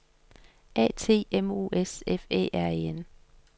A T M O S F Æ R E N